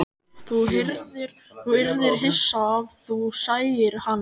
Þú yrðir hissa ef þú sæir hana.